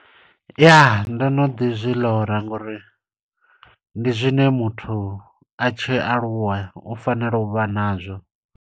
Ya, ndo no ḓi zwi ḽora, ngo uri ndi zwine muthu a tshi aluwa, u fanela u vha nazwo.